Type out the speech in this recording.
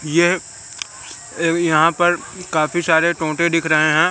यह अव यहां पर काफी सारे टोटें दिख रहे हैं।